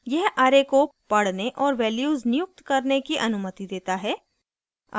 यह array को पढ़ने और values नियुक्त करने की अनुमति देता है